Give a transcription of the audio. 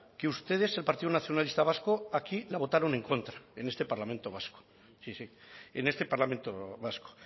que ustedes el partido nacionalista vasco aquí la votaron en contra en este parlamento vasco sí sí en este parlamento vasco